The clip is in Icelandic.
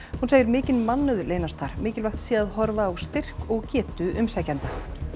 hún segir mikinn mannauð leynast þar mikilvægt sé að horfa á styrk og getu umsækjenda